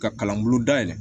Ka kalan bulu dayɛlɛ